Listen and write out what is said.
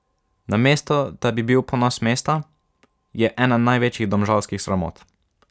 Namesto da bi bil ponos mesta, je ena največjih domžalskih sramot.